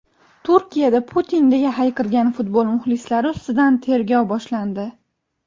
Turkiyada "Putin" deya hayqirgan futbol muxlislari ustidan tergov boshlandi.